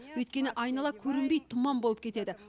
өйткені айнала көрінбей тұман болып кетеді